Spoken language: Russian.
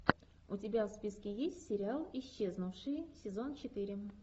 у тебя в списке есть сериал исчезнувшие сезон четыре